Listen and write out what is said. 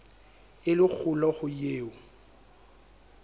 e le kgolo ho eo